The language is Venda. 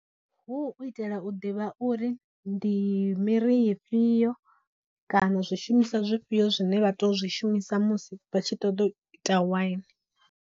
Hu u itela u ḓivha uri ndi miri ifhiyo kana zwishumisa zwifhiyo zwine vha to zwi shumisa musi vha tshi ṱoḓa u ita waini.